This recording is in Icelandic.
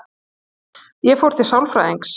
Ég fór til sálfræðings.